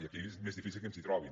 i aquí és més difícil que ens hi trobin